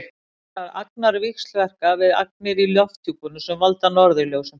þessar agnir víxlverka við agnir í lofthjúpnum sem valda norðurljósum